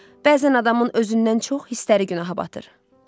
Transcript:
Bəzən adamın özündən çox hissləri günaha batır, dedi.